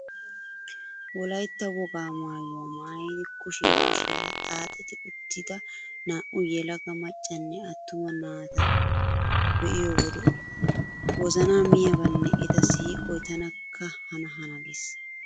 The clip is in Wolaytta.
Wolaytta wogaa maayuwa maayidi kushiya kushiyara xaxetti uttida naa"u yelaga maccanne attuma naata be'iyo wode wozanaa miyabaynne eta siiqoy tanakka hana hana gees.